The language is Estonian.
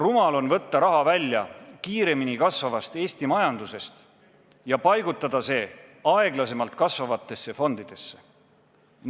Rumal on võtta raha välja kiiremini kasvavast Eesti majandusest ja paigutada see aeglasemalt kasvavatesse fondidesse.